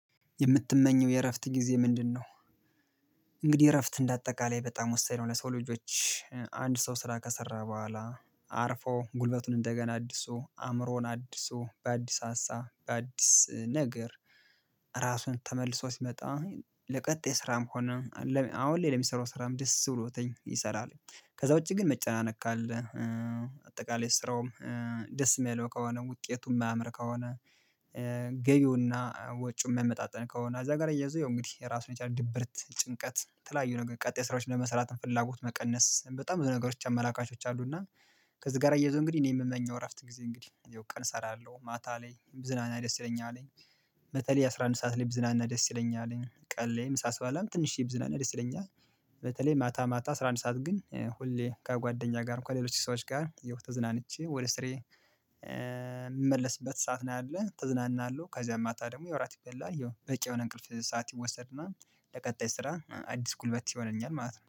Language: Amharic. የምትመኘው የእረፍት ጊዜ ምንድነው? እንግዲህ እረፍት እንደ አጠቃላይ በጣም ወሳኝ ነው ለሰው ልጆች። አንድ ሰው ስራ ከሰራ በኋላ አርፎ፣ ጉልበቱን እንደገና አድሶ፣ አእምሮን አድሶ፣ በአዲስ ሀሳ በአዲስ ነገር፣ ራሱን ተመልሶ ሲመጣ ለቀጣይ ስራም ሆነ አሁን ላይ ለሚሰራው ስራም ደስ ብሎትኝ ይሰራል። ከዛ ውጪ ግን መጨናነቅ ካለ፣ አጠቃላይ ስራውም ደስ የማይለው ከሆነ፣ ውጤቱ የማያምር ከሆነ፣ ገቢውና ወጪው የማይመጣጠን ከሆነ እዛ ጋር አያያዞ ያው እንግዲህ ራሱን የቻለ ድብርት ጭንቀት የተለያዩ ነገር ቀጣይ ስራዎችን ለመስራት ፍላጎት መቀነስ። በጣም ብዙ ነገሮች አመላካቾች አሉና ከዚህ ጋር አያያዞ እንግዲህ እኔ የምመኘው እረፍት ጊዜ እንግዲህ ያው ቀን እሰራለሁ ማታ ላይ ብዝናና ደስ ይለኛል። በተለል አስራ አንድ ሰዓት ላይ ብዝናና ደስ ይለኛል። ቀን ላይም ምሳ ስባላም ትንሽዬ ብዝናና ደስ ይለኛል። በተለይ ማታ ማታ አስራ አንድ ሰዓት ግን ሁሌ ከጓደኛ ጋር እንኳን ሌሎች ሰዎች ጋር ያው ተዝናንቼ ወደ ስሬ የምመለስበት ሰዓት ነው ያለው ተዝናናለሁ ከዛ ማታ ደግሞ ያው እራት ይበላል ያው በቂ የሆነ እንቅልፍ ሰዓት ይወሰድና ለቀጣይ ስራ አዲስ ጉልበት ይሆነኛል ማለት ነው።